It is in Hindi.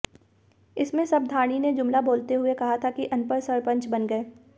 इसमें सबधाणी ने जुमला बोलते हुए कहा था कि अनपढ़ सरपंच बन गए